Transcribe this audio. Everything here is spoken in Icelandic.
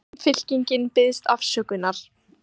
Samfylkingin biðst afsökunar